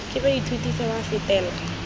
ke baithuti fa ba fetela